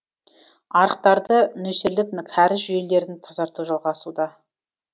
арықтарды нөсерлік кәріз жүйелерін тазарту жалғасуда